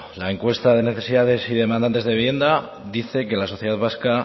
la encuesta de necesidades y demandantes de vivienda dice que la sociedad vasca